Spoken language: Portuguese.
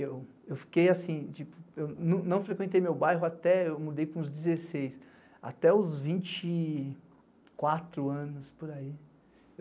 Eu fiquei assim, tipo eu não frequentei meu bairro até... eu mudei com uns dezesseis, até os vinte e quatro anos, por aí.